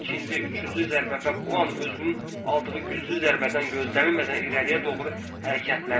İkinci, üçüncü zərbə və bu an özünün aldığı güclü zərbədən gözlənilmədən irəliyə doğru hərəkətləndi.